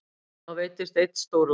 Þá veiddist einn stórlax.